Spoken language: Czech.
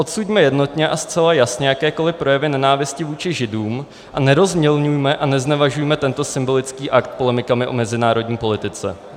Odsuďme jednotně a zcela jasně jakékoli projevy nenávisti vůči Židům a nerozmělňujme a neznevažujme tento symbolický akt polemikami o mezinárodní politice.